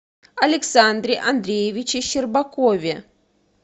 александре андреевиче щербакове